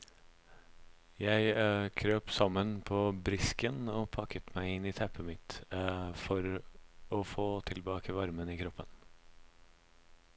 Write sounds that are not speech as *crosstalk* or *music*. Jeg *hesitation* krøp sammen på brisken og pakket meg inn i teppet mitt *hesitation* for å få tilbake varmen i kroppen.